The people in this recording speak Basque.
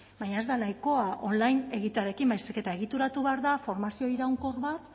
baina ez da nahikoa online egitearekin baizik eta egituratu behar da formazio iraunkor